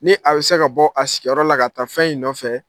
Ni a bɛ se ka bɔ a sigiyɔrɔ la ka taa fɛn in fɛ.